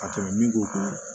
Ka tɛmɛ min ko kan